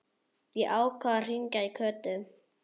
Ég ákvað að hringja í Kötu.